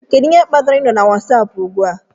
Kedu ihe kpatara ị nọ na Wasapu ugbu a?